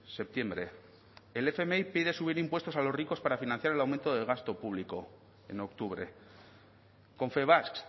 septiembre el fmi pide subir impuestos a los ricos para financiar el aumento de gasto público en octubre confebask